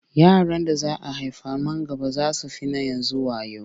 Yaran da za a haifa man gaba sai sun fi na yanzu wayo.